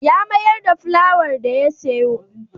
Ya mayar da folwayar da ya sayo.